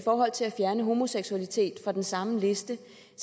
forhold til at fjerne homoseksualitet fra den samme liste